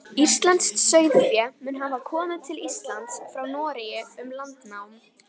Íslenskt sauðfé mun hafa komið til Íslands frá Noregi um landnám.